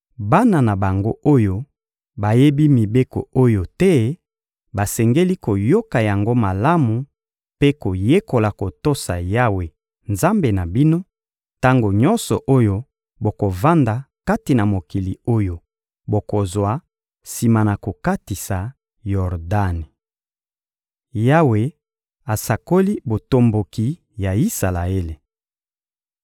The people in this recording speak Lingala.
Bana na bango oyo bayebi mibeko oyo te basengeli koyoka yango malamu mpe koyekola kotosa Yawe, Nzambe na bino, tango nyonso oyo bokovanda kati na mokili oyo bokozwa sima na kokatisa Yordani.» Yawe asakoli botomboki ya Isalaele